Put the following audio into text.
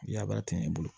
Yabara ten i bolo